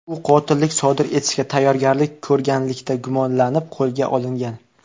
U qotillik sodir etishga tayyorgarlik ko‘rganlikda gumonlanib qo‘lga olingan.